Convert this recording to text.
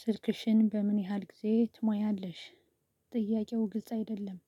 ስልክሽን በምን ያህል ጊዜ ትሞያለሽ? ጥያቄው ግልጽ አይደለም